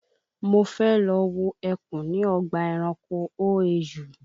Mo fẹ́ lọ wo ẹkùn ní ọgbà ẹranko OAU